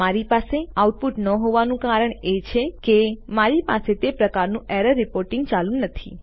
મારી પાસે આઉટપુટ ન હોવાનું કારણ એ છે કે મારી પાસે તે પ્રકારનું એરર રીપોર્ટીંગ ચાલુ નથી